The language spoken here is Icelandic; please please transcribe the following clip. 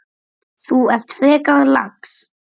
Þú ert frekar lax.